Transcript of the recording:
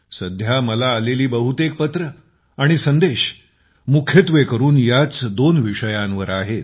सध्या मला आलेली बहुतेक पत्रं आणि संदेश मुख्यत्वेकरुन याच दोन विषयांवर आहेत